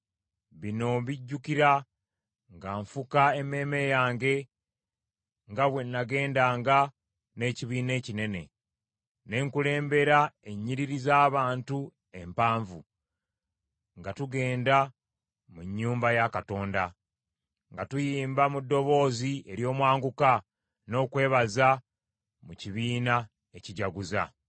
Bino mbijjukira nga nfuka emmeeme yange nga bwe nagendanga n’ekibiina ekinene, ne nkulembera ennyiriri z’abantu empanvu, nga tugenda mu nnyumba ya Katonda, nga tuyimba mu ddoboozi ery’omwanguka n’okwebaza mu kibiina ekijaguza.